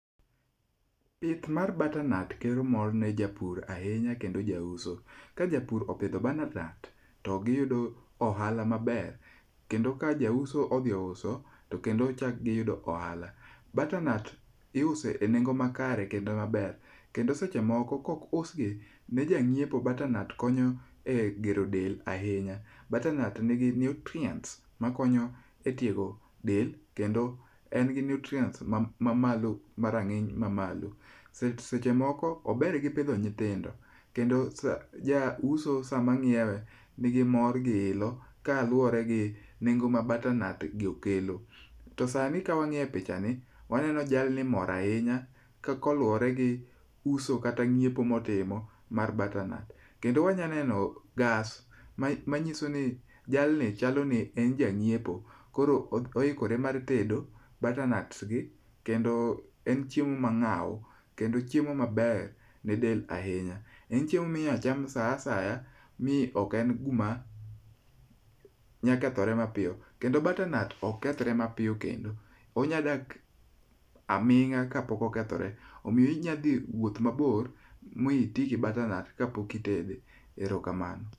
Pith mar [cs[butter nut kelo mor ne japur ahinya kendo jauso. Ka japur opidho butter nut to giyudo ohala maber, kendo ka jauso odhi ouso to kendo chak giyudo ohala. butter nut iuso e nengo makare kendo maber, kendo seche moko kaok ousgi ne janyiepo, butter nut konyo egero del ahinya. butter nut nigi nutrients makonyo e tiego del kendo en gi nutrient mamalo marang'iny mamalo. Seche moko ober gi pidho nyithindo, kendo ja uso samanyiewe nigi mor giilo kaluwore gi nengo ma butter bnut gi okelo. To sani kawang'iyo e pichani, waneno jalni mor ahinya koluwore gi uso kata ng'iepo motimo mar [cs6 butter nut. Kendo wanyalo neno gas manyiso ni jalni chaloni en janyiepo koro oikore mar tedo butter nut gi kendo en chiemo mang'aw. Kendo chiemo ma inyalo cham saa asaya. Mi ok en gima nyalo kethore mapiyo. Kendo butter nut ok kethre mapiyo kendo onyalo dak aming'a kapok okethore. Omiyo inyalo dhi wuoth mabor miti gi butter nut kapok itede. Erokamano.